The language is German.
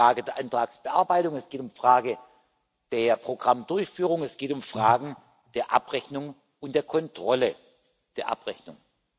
Es geht um Fragen der Antragsbearbeitung, es geht um Fragen der Programmdurchführung, es geht um Fragen der Abrechnung und der Kontrolle der Abrechnungen.